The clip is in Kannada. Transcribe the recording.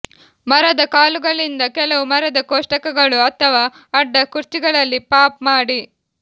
ಮರದ ಕಾಲುಗಳಿಂದ ಕೆಲವು ಮರದ ಕೋಷ್ಟಕಗಳು ಅಥವಾ ಅಡ್ಡ ಕುರ್ಚಿಗಳಲ್ಲಿ ಪಾಪ್ ಮಾಡಿ